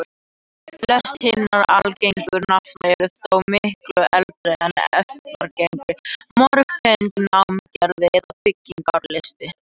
Flest hinna algengu nafna eru þó miklu eldri en efnagreiningar, mörg tengd námagreftri eða byggingarlist.